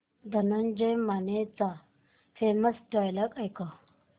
धनंजय मानेचे famous dialogue ऐकव